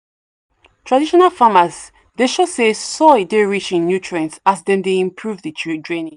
traditional farmers dey show say soil dey rich in nutrient as dem dey improve the draining